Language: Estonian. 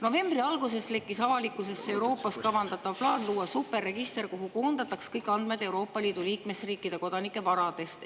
Novembri alguses lekkis avalikkusesse Euroopas kavandatav plaan luua superregister, kuhu koondatakse kõik andmed Euroopa Liidu liikmesriikide kodanike varade kohta.